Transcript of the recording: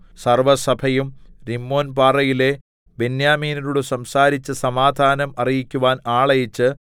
സർവ്വസഭയും രിമ്മോൻപാറയിലെ ബെന്യാമീന്യരോട് സംസാരിച്ച് സമാധാനം അറിയിക്കുവാൻ ആളയച്ച്